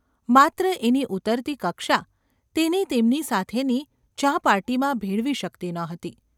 માત્ર એની ઊતરતી કક્ષા તેને તેમની સાથેની ચા પાર્ટીમાં ભેળવી શકતી ન હતી.